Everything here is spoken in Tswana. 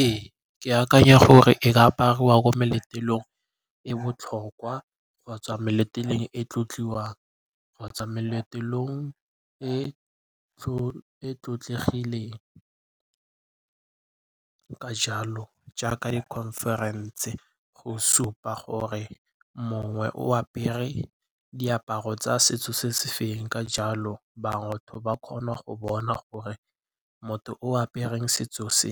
Ee, ke akanya gore e ka apariwa ko meletlong e botlhokwa kgotsa meletlong e tlotliwa kgotsa meletlong e e tlotlegileng. Ka jalo jaaka di-conference go supa gore mongwe o apere diaparo tsa setso se se fe, ka jalo bangwe ba kgona go bona gore motho o apereng setso se